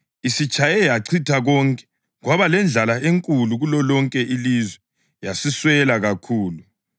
Isitshaye yachitha konke, kwaba lendlala enkulu kulolonke ilizwe, yasiswela kakhulu.